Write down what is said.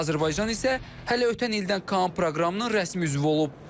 Azərbaycan isə hələ ötən ildən KAAN proqramının rəsmi üzvü olub.